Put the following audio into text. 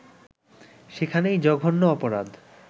সেখানেই জঘন্য অপরাধ